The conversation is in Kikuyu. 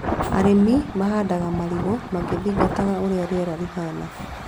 Arĩmi mahandaga marigũ magĩthingata ũrĩa rĩera rĩhana